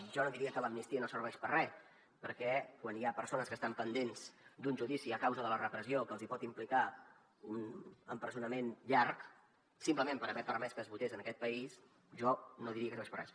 jo no diria que l’amnistia no serveix per a res perquè quan hi ha persones que estan pendents d’un judici a causa de la repressió que els hi pot implicar un empresonament llarg simplement per haver permès que es votés en aquest país jo no diria que no serveix per a res